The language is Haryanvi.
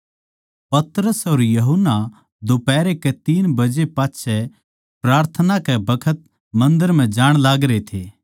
पतरस अर यूहन्ना दोफाहरै के तीन बजे पाच्छै प्रार्थना कै बखत मन्दर म्ह जाण लागरे थे